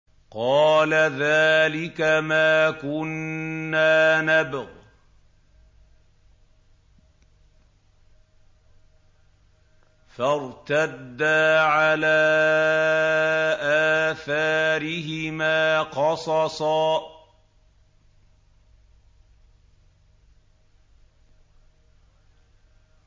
قَالَ ذَٰلِكَ مَا كُنَّا نَبْغِ ۚ فَارْتَدَّا عَلَىٰ آثَارِهِمَا قَصَصًا